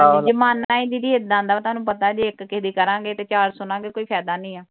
ਜਮਾਨਾ ਹੀ ਦੀਦੀ ਏਂਦਾ ਦਾ। ਤੁਹਾਨੂੰ ਪਤਾ ਜੇ ਇੱਕ ਕਿਹੇ ਦੀ ਕਰਾਂਗੇ ਤੇ ਚਾਰ ਸੁਣਗੇ। ਕੋਈ ਫਾਇਦਾ ਨਹੀ ਆ।